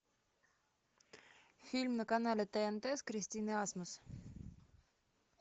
фильм на канале тнт с кристиной асмус